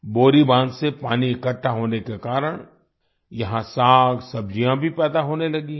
बोरी बांध से पानी इकट्ठा होने के कारण यहाँ सागसब्जियाँ भी पैदा होने लगी हैं